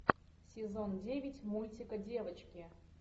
сезон девять мультика девочки